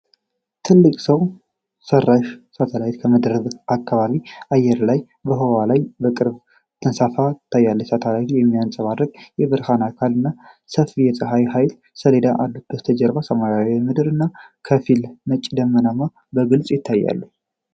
ትልቅ ሰው ሠራሽ ሳተላይት ከምድር ከባቢ አየር በላይ በህዋ ላይ በቅርበት ተንሳፎ ቀርቧል። ሳተላይቱ የሚያብረቀርቅ የብረት አካል እና ሰፊ የፀሐይ ኃይል ሰሌዳዎች አሉት። ከበስተጀርባ ሰማያዊው ምድር እና ከፊል ነጭ ደመናዎች በግልፅ ይታያሉ።